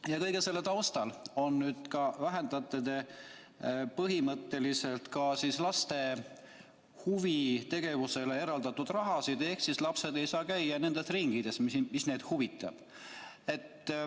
Ja kõige selle taustal vähendate te põhimõtteliselt ka laste huvitegevusele eraldatavat raha, nii et lapsed ei saa käia enam nendes ringides, mis neid huvitavad.